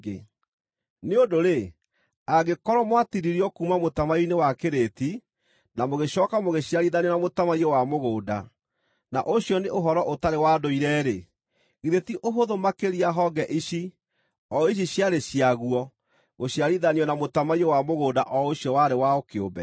Nĩ ũndũ-rĩ, angĩkorwo mwatinirio kuuma mũtamaiyũ-inĩ wa kĩrĩti, na mũgĩcooka mũgĩciarithanio na mũtamaiyũ wa mũgũnda, na ũcio nĩ ũhoro ũtarĩ wa ndũire-rĩ, githĩ ti ũhũthũ makĩria honge ici, o ici ciarĩ ciaguo, gũciarithanio na mũtamaiyũ wa mũgũnda o ũcio warĩ wao kĩũmbe!